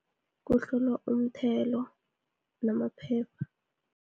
Kuhlolwa umthelo, namaphepha.